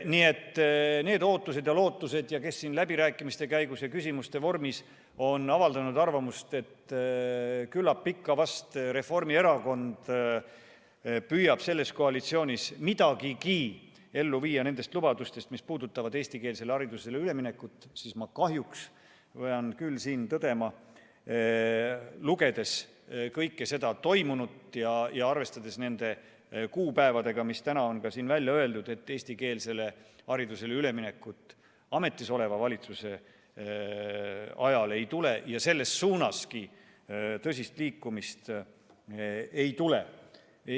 Nii et need ootused ja lootused neil, kes siin läbirääkimiste käigus ja küsimuste vormis on avaldanud arvamust, et küllap ikka Reformierakond püüab selles koalitsioonis midagigi ellu viia nendest lubadustest, mis puudutavad eestikeelsele haridusele üleminekut – ma kahjuks pean küll siin tõdema, lugedes ja arvestades neid kuupäevi, mis täna on välja öeldud, et eestikeelsele haridusele üleminekut ametisoleva valitsuse ajal ei tule ja isegi tõsist liikumist selle suunas ei tule.